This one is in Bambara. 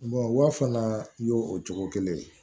wa fana y'o o cogo kelen ye